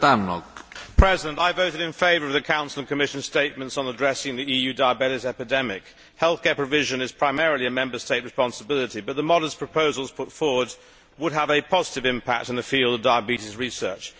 Mr President, I voted in favour of the Council and Commission statements on addressing the EU diabetes epidemic. Healthcare provision is primarily a Member State responsibility, but the modest proposals put forward would have a positive impact in the field of diabetes research.